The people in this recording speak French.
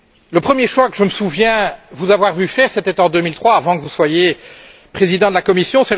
Le premier choix que je me souviens vous avoir vu faire, c'était en 2003, avant que vous ne soyez président de la Commission.